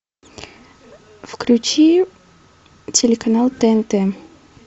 включи телеканал тнт